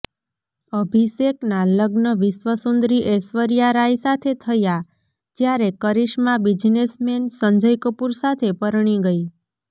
અભિષેકના લગ્ન વિશ્વસુંદરી ઐશ્વર્યા રાય સાથે થયા જ્યારે કરિશ્મા બિઝનેસમેન સંજય કપૂર સાથે પરણી ગઈ